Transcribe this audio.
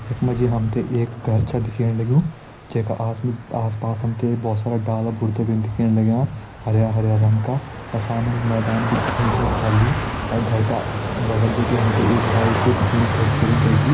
यख मा जी हम ते एक घर छ दिखेण लग्युं जै का आस-आस पास हम ते बहोत सारा डाला बुरदा भी दिखेण लग्यां हरयां हरयां रंग का अर सामणि मैदान भी दिखेण लग्युं खली और घर का बगल बिटि हम ते एक बाइक भी दिखेणी खड़ी करीं कैकि।